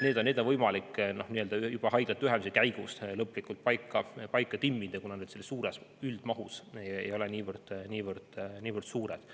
Need asjad on võimalik enne, juba haiglate ühendamise käigus, lõplikult paika timmida, kuna selles üldmahus ei ole need niivõrd suured.